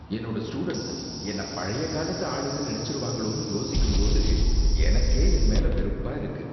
என்னோட ஸ்டூடண்ட்ஸ் என்னை பழைய காலத்து ஆளுன்னு நினைச்சிருவாங்களோன்னு யோசிக்கும் போது எனக்கே என் மேல வெறுப்பா இருக்கு.